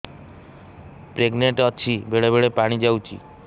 pregnant ଅଛି ବେଳେ ବେଳେ ପାଣି ଯାଉଛି